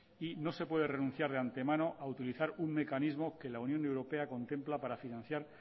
y no se puede renunciar de antemano a utilizar un mecanismo que la unión europea contempla para financiar